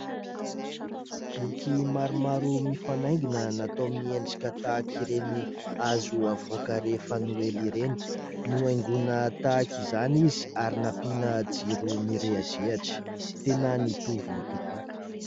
Boky maromaro mifanaingina natao miendrika tahaka ireny hazo havoaka rehefa noely ireny. Nohaingoina tahaka izany izy ary nampiana jiro mirehi-drehitra, tena nitovy tokoa.